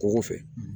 Kungo fɛ